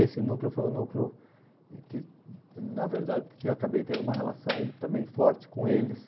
Esse núcleo foi o núcleo que, na verdade, acabei tendo uma relação também forte com eles.